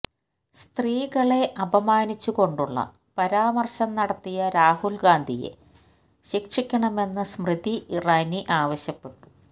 സ്ത്രീകളെ അപമാനിച്ചുകൊണ്ടുള്ള പരാമര്ശം നടത്തിയ രാഹുല്ഗാന്ധിയെ ശിക്ഷിക്കണമെന്ന് സ്മൃതി ഇറാനി ആവശ്യപ്പെട്ടു